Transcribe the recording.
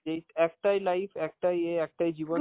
যেই একটাই life, একটাই ইয়ে, একটাই জীবন